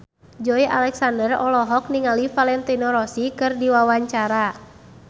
Joey Alexander olohok ningali Valentino Rossi keur diwawancara